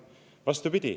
Vastupidi.